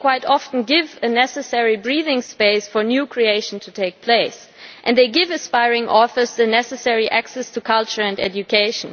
They quite often give a necessary breathing space for new creation to take place, and they give aspiring authors the necessary access to culture and education.